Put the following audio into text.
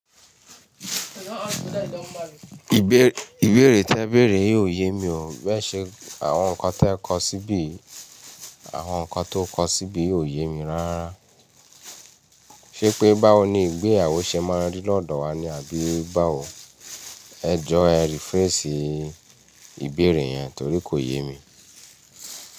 Ìbéèrè tẹ béèrè ò yé mi o, bẹ́ẹ̀ ṣe àwọn nǹkan tó kọ síbi kò yé mi rárá. Ṣé pé báwo ni ìgbéyàwó ṣe máa rí lọ́dọ̀ wa ni àbí báwo? Ẹ jọ e rephrase ìbéèrè yẹn torí kò yé mi.